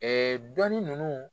Ɛɛ dɔnni ninnu